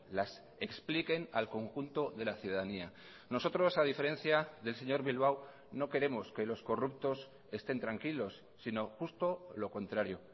las expliquen al conjunto de la ciudadanía nosotros a diferencia del señor bilbao no queremos que los corruptos estén tranquilos sino justo lo contrario